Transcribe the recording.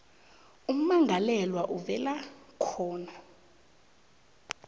ummangalelwa avela khona